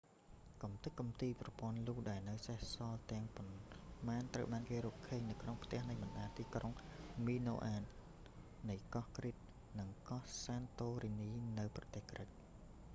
កម្ទេចកំទីប្រព័ន្ធលូដែលនៅសេសសល់ទាំងប៉ុន្មានត្រូវបានគេរកឃើញនៅក្នុងផ្ទះនៃបណ្តាទីក្រុង មីណូអាន minoan នៃកោះគ្រីត crete និងកោះ សានតូរីនី santorini នៅប្រទេសក្រិក